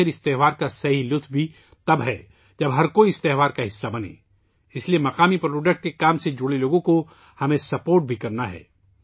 آخرکار ، اس تہوار کی اصل خوشی تب ہوتی ہے ، جب ہر کوئی اس تہوار کا حصہ بنتا ہے، اس لئے مقامی مصنوعات کے کام سے جڑے لوگوں کی ، ہمیں مدد بھی کرنی ہے